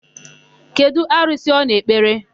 Kedụ arụsị ọ na-ekpere?